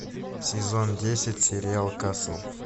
сезон десять сериал касл